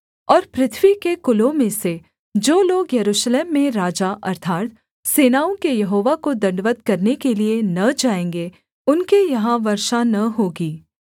और पृथ्वी के कुलों में से जो लोग यरूशलेम में राजा अर्थात् सेनाओं के यहोवा को दण्डवत् करने के लिये न जाएँगे उनके यहाँ वर्षा न होगी